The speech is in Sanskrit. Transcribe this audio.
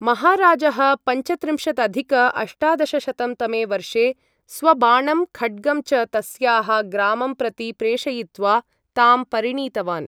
महाराजः पञ्चत्रिंशदधिक अष्टादशशतं तमे वर्षे 'स्वबाणं खड्गं च तस्याः ग्रामं प्रति प्रेषयित्वा' तां परिणीतवान्।